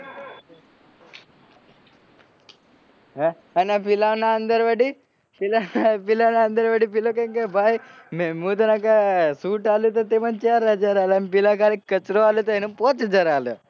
હ અન પેલાના અંદર વડી પેલો વડી કે ભાઈ મુ તન shut આલું ટુ મન ચાર હજાર આલ અને પેલો ખાલી કચરો વાળ્યો એને પાંચ હજાર આલ્યા